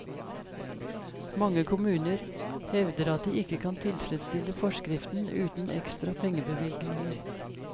Mange kommuner hevder at de ikke kan tilfredsstille forskriften uten ekstra pengebevilgninger.